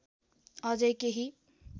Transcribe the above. अझै केही